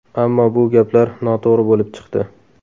Ammo bu gaplar noto‘g‘ri bo‘lib chiqdi.